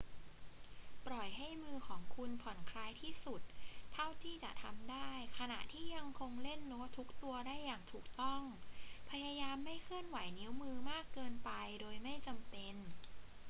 ปล่อยให้มือของคุณผ่อนคลายที่สุดเท่าที่จะทำได้ขณะที่ยังคงเล่นโน้ตทุกตัวได้อย่างถูกต้อง พยายามไม่เคลื่อนไหวนิ้วมือมากเกินไปโดยไม่จำเป็น